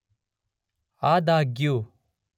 ಆದಾಗ್ಯೂ